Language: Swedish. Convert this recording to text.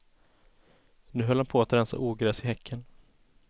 Nu höll han på att rensa ogräs i häcken.